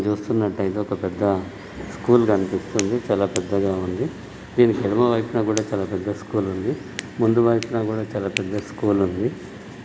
ఇక్కడ చూసుకున్నట్లైతే ఒక పెద్ద స్కూల్ కనిపిస్తుంది చాలా పెద్దాగా ఉంది. దీనికి ఎడమ వైపున కూడా చాలా పెద్ద స్కూల్ ఉంది. ముందు వైపున కూడా చాలా పెద్ద స్కూల్ వుంది.